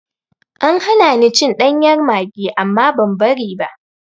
An hana ni cin ɗanyar maggi amma ban bari ba.